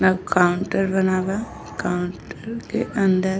Counter बना बा। Counter के अंदर --